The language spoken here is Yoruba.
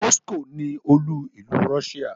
Moscow ni olú-ìlú Russia.